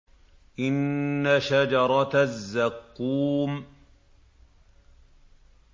إِنَّ شَجَرَتَ الزَّقُّومِ